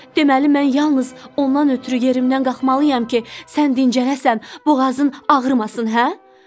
Deməli, mən yalnız ondan ötrü yerimdən qalxmalıyam ki, sən dincələsən, boğazın ağrımasın, hə?